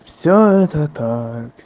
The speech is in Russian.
всё это так